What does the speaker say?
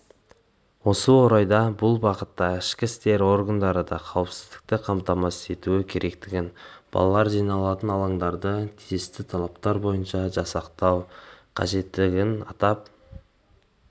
осы орайда бұл бағытта ішкі істер органдары да қауіпсіздікті қамтамасыз етуі керектігін балалар жиналатын алаңдарды тиісті талаптар бойынша жасақтау қажеттігін атап